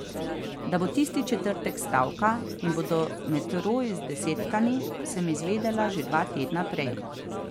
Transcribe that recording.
Da bo tisti četrtek stavka in bodo metroji zdesetkani, sem izvedela že dva tedna prej.